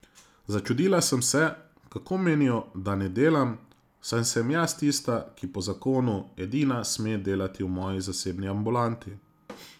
Začudila sem se, kako menijo, da ne delam, saj sem jaz tista, ki po zakonu edina sme delati v moji zasebni ambulanti.